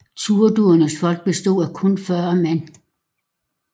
Turdurnes folk bestod af kun 40 mand